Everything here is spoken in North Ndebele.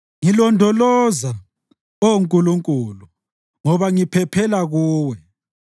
Ngilondoloza, Oh Nkulunkulu, ngoba ngiphephela kuwe.